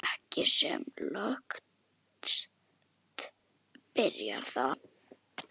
Ekki sem lökust býti það.